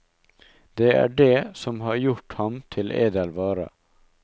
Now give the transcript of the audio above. Det er dét som har gjort ham til edel vare.